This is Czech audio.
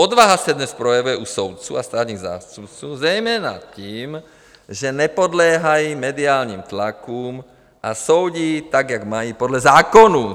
Odvaha se dnes projevuje u soudců a státních zástupců zejména tím, že nepodléhají mediálním tlakům a soudí tak, jak mají podle zákonů."